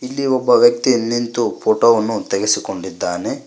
ಇಲ್ಲಿ ಒಬ್ಬ ವ್ಯಕ್ತಿ ನಿಂತು ಫೋಟೋ ವನ್ನು ತೆಗೆಸಿ ಕೊಂಡಿದ್ದಾನೆ.